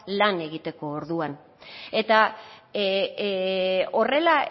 lan egiteko orduan eta horrela